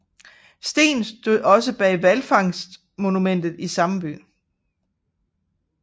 Steen stod også bag Hvalfangstmonumentet i samme by